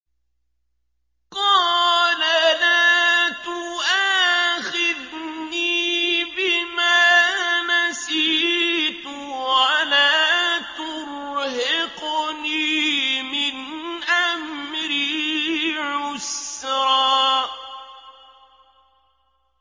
قَالَ لَا تُؤَاخِذْنِي بِمَا نَسِيتُ وَلَا تُرْهِقْنِي مِنْ أَمْرِي عُسْرًا